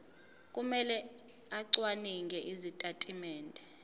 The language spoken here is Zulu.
kumele acwaninge izitatimende